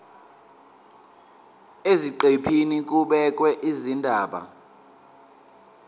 eziqephini kubhekwe izindaba